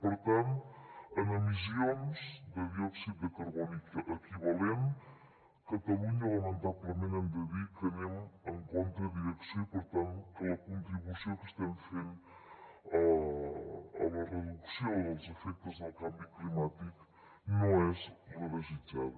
per tant en emissions de diòxid de carboni equivalent a catalunya lamentablement hem de dir que anem contra direcció i per tant que la contribució que estem fent a la reducció dels efectes del canvi climàtic no és la desitjada